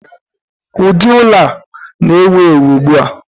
ụdị ụlọ a na-ewu ewu ugbu a